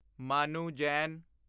Manu Jain